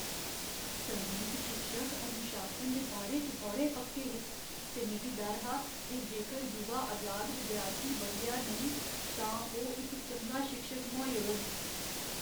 संगीत शिक्षक अनुशासन दे बारे च बड़े पक्के हे, ते मिगी डर हा जे जेकर युवा अजाद विद्यार्थी बदलेआ नेईं तां ओह् इक चंगा शिक्षक मुहाई ओड़ग।